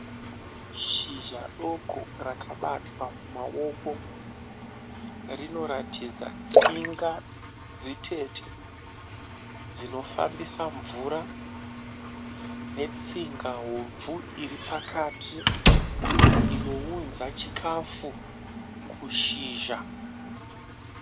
Shizha doko rakabatwa mumaoko. Rinoratidza tsinga dzitete dzinofambisa mvura netsinga hobvu iri pakati inounza chikafu kushizha.